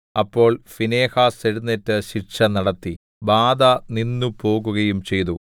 അപ്പോൾ ഫീനെഹാസ് എഴുന്നേറ്റ് ശിക്ഷ നടത്തി ബാധ നിന്നുപോകുകയും ചെയ്തു